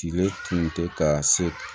Tile tun tɛ ka se